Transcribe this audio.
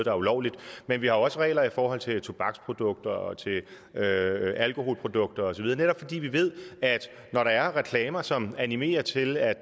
er ulovligt men vi har også regler i forhold til tobaksprodukter og alkoholprodukter osv netop fordi vi ved at når der er reklamer som animerer til at